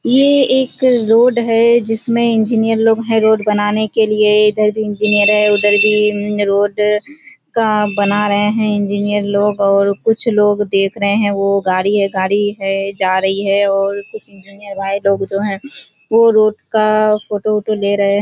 यह एक रोड है जिसमें इंजीनियर लोग है रोड बनाने के लिए इधर भी इंजीनियर है उधर भी रोड का बना रहे हैं इंजीनियर लोग और कुछ लोग देख रहे हैं वह गाड़ी है गाड़ी है जा रही है और और कुछ इंजीनियर भाई लोग जो हैं वो रोड का फोटो औटो ले रहे हैं।